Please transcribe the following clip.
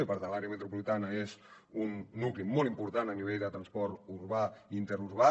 i per tant l’àrea metropolitana és un nucli molt important a nivell de transport urbà i interurbà